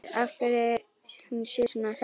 Spyr af hverju hún sé svona hress.